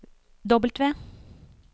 W